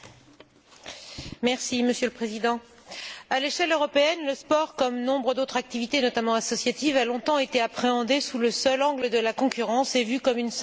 Monsieur le Président, à l'échelle européenne, le sport, comme de nombreuses autres activités, notamment associatives, a longtemps été appréhendé sous le seul angle de la concurrence et vu comme une simple activité économique.